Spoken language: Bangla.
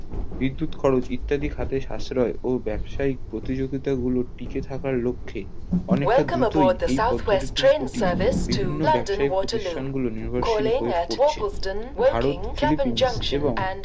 বিদ্যুৎ খরচ ইত্যাদির খাতে সাশ্রয় ও ব্যাবসায়িক প্রতিযোগিতা গুলোর টিকে থাকার লক্ষ্যে অনেক তা দ্রুতই এই পদ্ধিতি টি বিভিন্ন ব্যাবসায়িক প্রতিষ্ঠান গুলো নির্ভরশীল হয়ে পড়ছে ভারত ফিলিপিন্স এবং